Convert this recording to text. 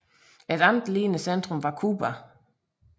Et andet lignende centrum var Cuba